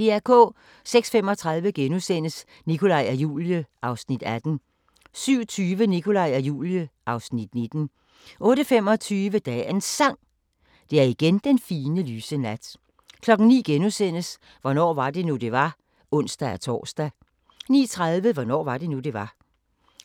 06:35: Nikolaj og Julie (Afs. 18)* 07:20: Nikolaj og Julie (Afs. 19) 08:25: Dagens Sang: Det er igen den fine, lyse nat 09:00: Hvornår var det nu, det var? *(ons-tor) 09:30: Hvornår var det nu, det var?